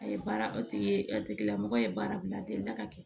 A ye baara o tigi a tigilamɔgɔ ye baara bila a delila ka kɛ